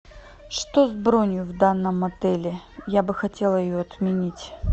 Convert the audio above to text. что с бронью в данном отеле я бы хотела ее отменить